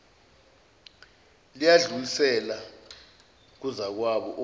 layidlulisela kuzakwabo omi